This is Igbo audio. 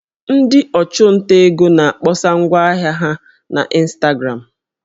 Ndị ọchụnta ego na-akpọsa ngwa ahịa ha na ịnstagramụ